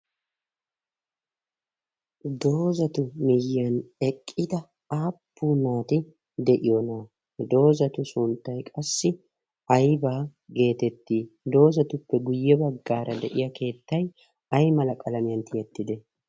doozatu miyyiyan eqqida aappu naati de'iyoonaa? doozatu sunttay qassi aibaa geetettii doozatuppe guyye baggaara de'iya keettai ay mala qalamiyan tiyettide?